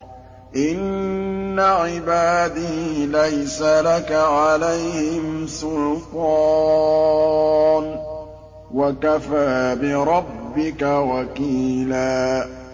إِنَّ عِبَادِي لَيْسَ لَكَ عَلَيْهِمْ سُلْطَانٌ ۚ وَكَفَىٰ بِرَبِّكَ وَكِيلًا